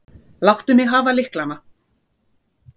Láttu mig hafa lyklana.